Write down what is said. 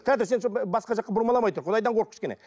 тұра тұр сен сол басқа жаққа бұрмаламай тұр құдайдан қорық кішкене